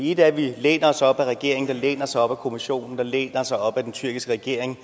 ét er at vi læner os op ad regeringen der læner sig op ad kommissionen der læner sig op ad den tyrkiske regering